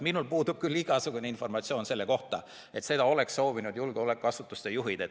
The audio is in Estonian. Minul puudub küll igasugune informatsioon, et seda oleks soovinud julgeolekuasutuste juhid.